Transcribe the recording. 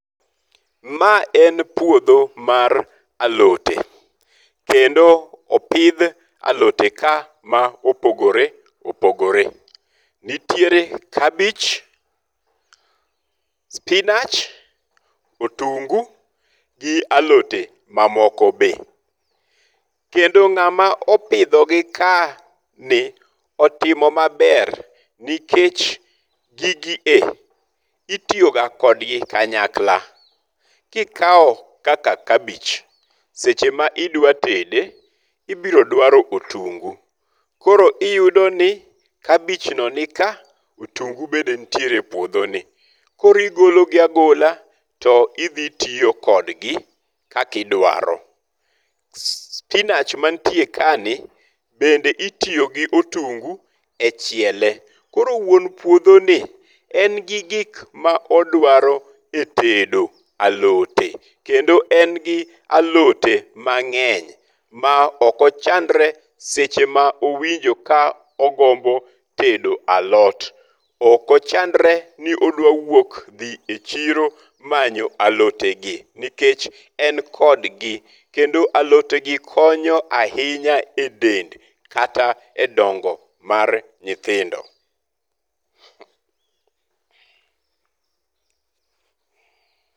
Ma en puodho mar alote. Kendo opidh alote ka ma opogore opogore. Nitiere kabich, sipinach, otungu gi alote mamoko be. Kendo ng'ama opidho gi ka ni otimo maber nikech gigi e itiyo ga kodgi kanyakla. Kikawo kaka kabich, seche ma idwa tede ibiro dwaro otungu. Koro iyudo ni kabich no nika, otungu bende nitiere e puodho ni. Koro igolo gi agola to idhi tiyo kodgi kakidwaro. Sipinach ma nitie ka ni bende itiyo gi otungu e chiele. Koro wuon puodho ni en gi gik ma odwaro e tedo alote. Kendo en gi alote mang'ny ma ok ochandre seche ma owinjo ka ogombo tedo alot. Ok ochandre ni odwa wuok dhi e chiro manyo alote gi nikech en kodgi. Kendo alote gi konyo ahinya e dend kata e dongo mar nyithindo.